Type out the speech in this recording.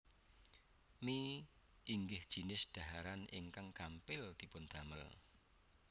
Mie inggih jinis dhaharan ingkang gampil dipun damel